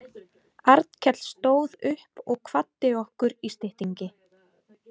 Arnkell stóð upp og kvaddi okkur í styttingi.